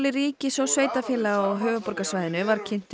ríkis og sveitarfélaga á höfuðborgarsvæðinu var kynntur